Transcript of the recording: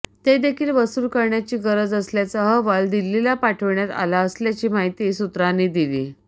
तेदेखील वसूल करण्याची गरज असल्याचा अहवाल दिल्लीला पाठविण्यात आला असल्याची माहिती सूत्रांनी दिली